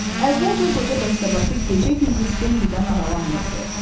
Əvvəlcə qoca dəstəbaşı gecə-gündüz Bambidən aralanmırdı.